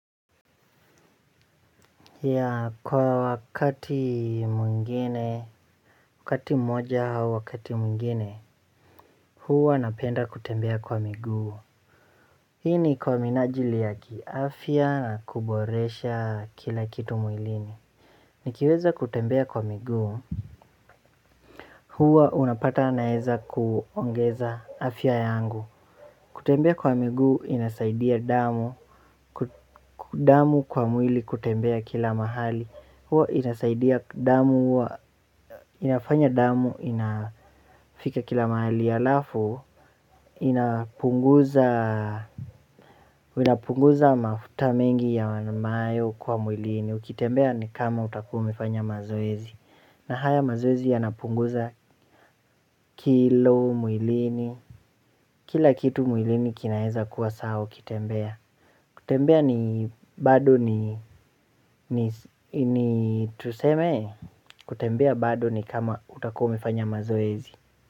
Ya kwa wakati mwingine, wakati mmoja au wakati mwingine, huwa napenda kutembea kwa miguu. Hii ni kwa minajili ya kiafya na kuboresha kila kitu mwilini. Nikiweza kutembea kwa miguu, huwa unapata naeza kuongeza afya yangu. Kutembea kwa miguu inasaidia damu, damu kwa mwili kutembea kila mahali. Huwa inasaidia damu, inafanya damu, inafika kila mahali alafu ina inapunguza mafuta mengi ya wanamayo kwa mwilini. Ukitembea ni kama utakuwa umefanya mazoezi. Na haya mazoezi ya napunguza kilo mwilini. Kila kitu mwilini kinaeza kuwa sawa ukitembea. Kutembea ni bado ni tuseme kutembea bado ni kama utakuwa umefanya mazoezi.